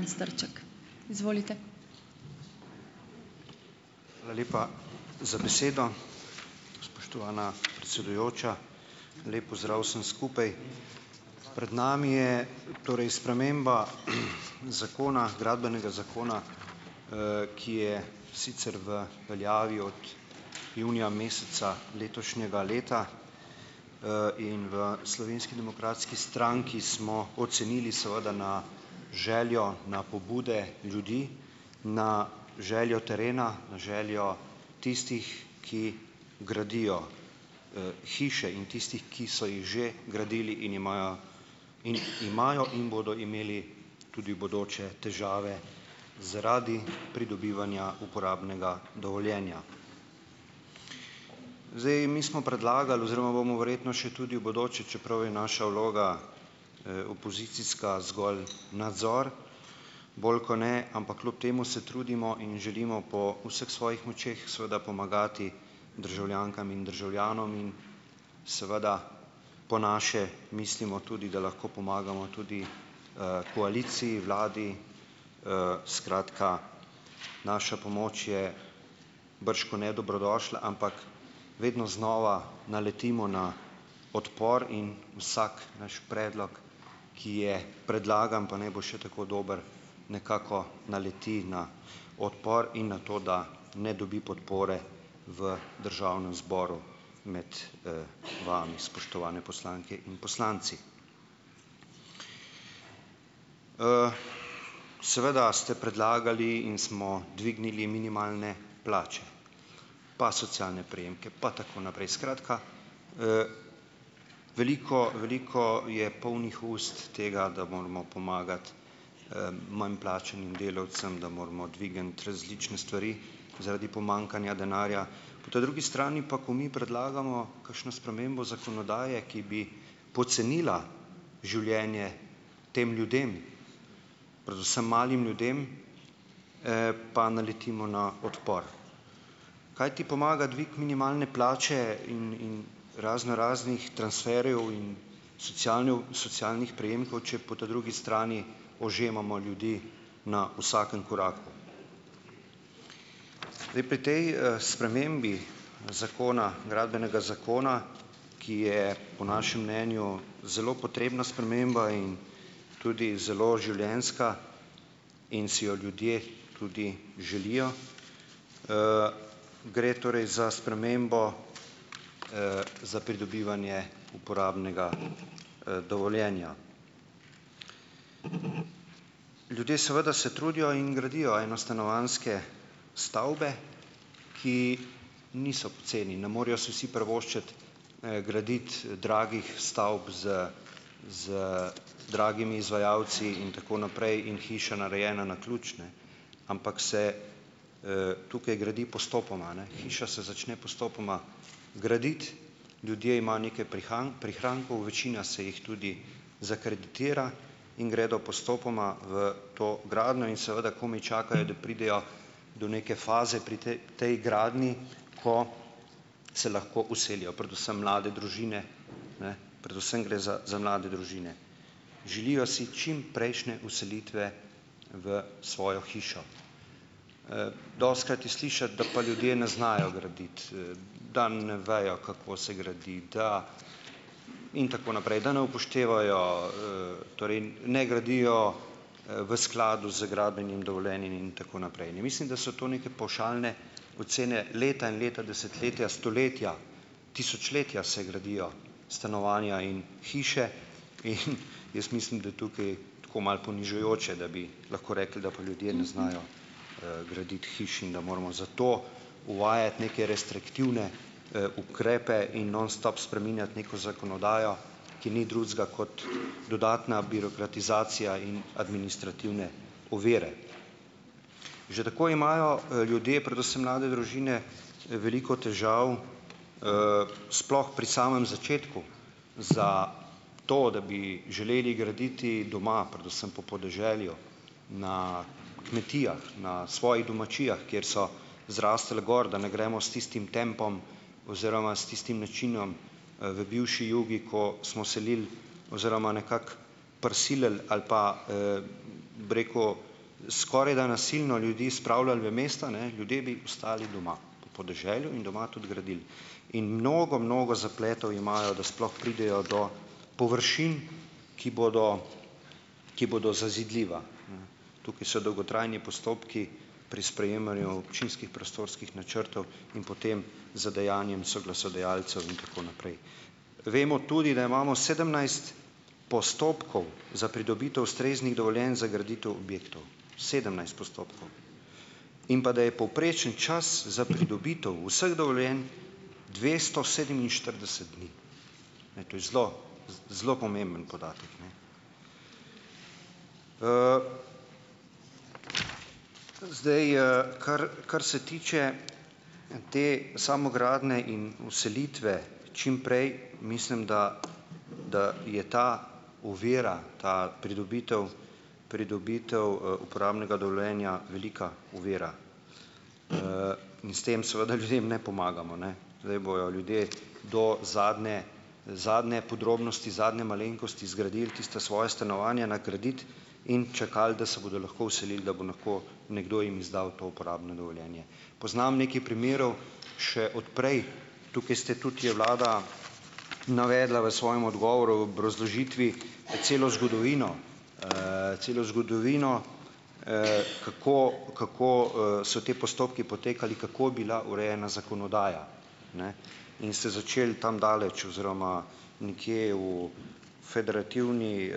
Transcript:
Hvala lepa za besedo. Spoštovana predsedujoča, lep pozdrav vsem skupaj! Pred nami je torej sprememba zakona, gradbenega zakona, ki je sicer v veljavi od junija meseca letošnjega leta in v Slovenski demokratski stranki smo ocenili seveda na željo, na pobude ljudi, na željo terena, na željo tistih, ki gradijo hiše in tistih, ki so jih že gradili in imajo in imajo in bodo imeli tudi v bodoče težave zaradi pridobivanja uporabnega dovoljenja. Zdaj, mi smo predlagali oziroma bomo verjetno še tudi v bodoče, čeprav je naša vloga, opozicijska zgolj nadzor, bolj kot ne, ampak kljub temu se trudimo in želimo po vseh svojih močeh seveda pomagati državljankam in državljanom in seveda po naše mislimo tudi, da lahko pomagamo tudi koaliciji, vladi, skratka, naša pomoč je bržkone dobrodošla, ampak vedno znova naletimo na odpor in vsak naš predlog, ki je predlagan, pa naj bo še tako dober, nekako naleti na odpor in na to, da ne dobi podpore v Državnem zboru med vami, spoštovane poslanke in poslanci. Seveda ste predlagali in smo dvignili minimalne plače, pa socialne prejemke pa tako naprej, skratka, veliko veliko je polnih ust tega, da moramo pomagati manj plačanim delavcem, da moramo dvigniti različne stvari zaradi pomanjkanja denarja, ta drugi strani pa, ko mi predlagamo kakšno spremembo zakonodaje, ki bi pocenila življenje tem ljudem, predvsem malim ljudem, pa naletimo na odpor. Kaj ti pomaga dvig minimalne plače in in razno raznih transferjev in socialnih prejemkov, če po ta drugi strani ožemamo ljudi na vsakem Zdaj pri tej spremembi zakona, Gradbenega zakona, ki je po našem mnenju zelo potrebna sprememba in tudi zelo življenjska in si jo ljudje tudi želijo, gre torej za spremembo, za pridobivanje uporabnega dovoljenja. Ljudje seveda se trudijo in gradijo enostanovanjske stavbe, ki niso poceni. Ne morejo si vsi privoščiti graditi dragih stavb z z dragimi izvajalci, in tako naprej, in hiša narejena na ključ ne, ampak se tukaj gradi postopoma a ne, hiša se začne postopoma graditi. Ljudje imajo neke prihrankov, večina se jih tudi zakreditira in gredo postopoma v to gradnjo in seveda komaj čakajo, da pridejo do neke faze pri tej gradnji, ko se lahko vselijo predvsem mlade družine. Ne, predvsem gre za za mlade družine. Želijo si čimprejšnje vselitve v svojo hišo. Dostikrat je slišati, da pa ljudje ne znajo graditi, da ne vejo, kako se gradi, da, in tako naprej. Da ne upoštevajo torej ne gradijo v skladu z gradbenim dovoljenjem in tako naprej. In ne mislim, da so te neke pavšalne ocene leta in leta, desetletja, stoletja, tisočletja se gradijo stanovanja in hiše in jaz mislim, da tukaj, tako malo ponižujoče, da bi lahko rekli, da pa ljudje ne znajo graditi hiš in da moramo zato uvajati neke restriktivne ukrepe in nonstop spreminjati neko zakonodajo, ki ni drugega kot dodatna birokratizacija in administrativne ovire. Že tako imajo ljudje, predvsem mlade družine, veliko težav sploh pri samem začetku za to, da bi želeli graditi doma, predvsem po podeželju, na kmetijah, na svojih domačijah, kjer so zrastli gor, da ne gremo s tistim tempom oziroma s tistim načinom v bivši Jugi, ko smo selili oziroma nekako prisilili ali pa, bi rekel, skoraj da nasilno ljudi spravljali v mesta, ne, ljudje bi ostali doma, podeželju in doma tudi gradili. In mnogo, mnogo zapletov imajo, da sploh pridejo do površin, ki bodo, ki bodo zazidljiva. Tukaj so dolgotrajni postopki pri sprejemanju občinskih prostorskih načrtov in potem z dejanjem soglasodajalcev in tako naprej. Vemo tudi, da imamo sedemnajst postopkov za pridobitev ustreznih dovoljenj za graditev objektov. Sedemnajst postopkov. In pa da je povprečen čas za pridobitev vseh dovoljenj dvesto sedeminštirideset dni. Ne, to je zelo, zelo pomemben podatek. Zdaj kar kar se tiče te samogradnje in vselitve čim prej, mislim, da da je ta ovira, ta pridobitev pridobitev uporabnega dovoljenja velika ovira in s tem seveda ljudem ne pomagamo, ne. Zdaj bojo ljudje do zadnje zadnje podrobnosti zadnje malenkosti zgradili tista svoja stanovanja na kredit in čakali, da se bodo lahko vselili, da bo lahko nekdo jim izdal to uporabno dovoljenje. Poznam nekaj primerov še od prej. Tukaj ste tudi, je vlada navedla v svojem odgovoru obrazložitvi celo zgodovino, celo zgodovino, kako kako so ti postopki potekali, kako je bila urejena zakonodaja. In ste začeli tam daleč oziroma nekje v Federativni